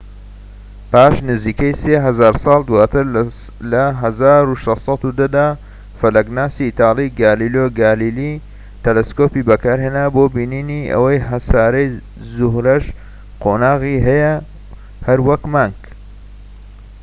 پاش نزیکەی سێ هەزار ساڵ دواتر، لە ١٦١٠ دا، فەلەكناسی ئیتالی گالیلۆ گالیلی تەلەسکۆبێکی بەکارهێنا بۆ بینینی ئەوەی هەساری زوهرەش قۆناغی هەیە، هەر وەك مانگ